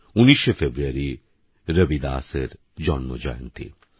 ১৯শেফেব্রুয়ারীরবিদাসেরজন্মজয়ন্তী